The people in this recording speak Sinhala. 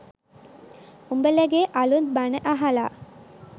උඹලගේ අලුත් බණ අහලා